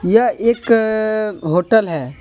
यह एक होटल है।